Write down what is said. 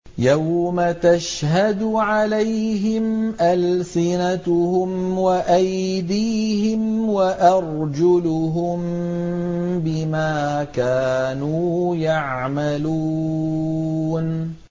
يَوْمَ تَشْهَدُ عَلَيْهِمْ أَلْسِنَتُهُمْ وَأَيْدِيهِمْ وَأَرْجُلُهُم بِمَا كَانُوا يَعْمَلُونَ